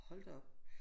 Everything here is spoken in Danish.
Hold da op